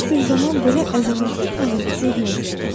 Heç bir zaman belə əzəmətli planet görməmişdi.